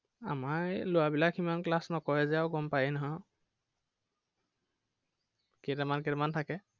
আমাৰ এই লৰাবিলাকে সিমান class নকৰে যে আৰু গম পাইয়েই নহয় আৰু কেইটামান কেইটামান থাকে।